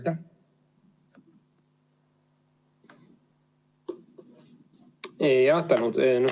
Tänan!